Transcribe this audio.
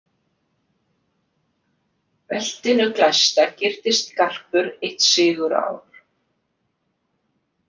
Beltinu glæsta gyrtist garpur eitt sigurár.